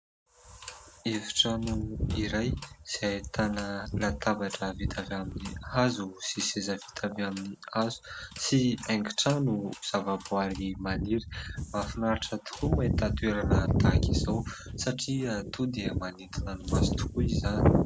Efitrano iray izay ahitana latabatra vita avy amin'ny hazo sy seza vita avy amin'ny hazo sy haingon-trano zavaboahary maniry. Mahafinaritra tokoa ny mahita toerana tahaka izao satria toa dia manintona ny maso tokoa izany.